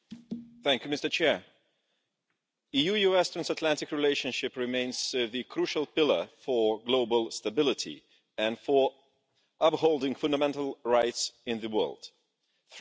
We need to negotiate with the USA for the climate and to re regulate globalisation, bringing the USA back into the multilateral game.